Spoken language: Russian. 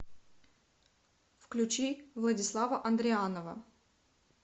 включи владислава андрианова